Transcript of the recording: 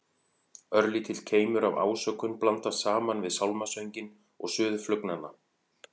Örlítill keimur af ásökun blandast saman við sálmasönginn og suð flugnanna.